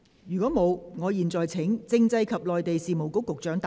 如果沒有，我現在請政制及內地事務局局長答辯。